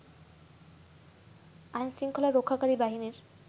আইন শৃঙ্খলা রক্ষাকারী বাহিনীর